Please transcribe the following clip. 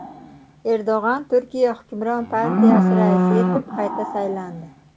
Erdo‘g‘on Turkiya hukmron partiyasi raisi etib qayta saylandi.